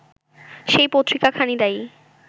সেই পত্রিকাখানি দায়ী